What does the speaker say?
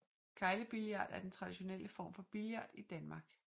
Keglebillard er den traditionelle form for billard i Danmark